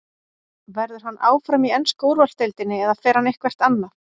Verður hann áfram í ensku úrvalsdeildinni eða fer hann eitthvert annað?